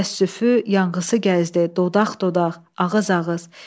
Təəssüfü, yanğısı gəzdi dodaq-dodaq, ağız-ağız.